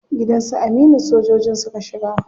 Gidan su Aminu sojojin suka shiga.